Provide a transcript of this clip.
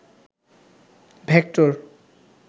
vector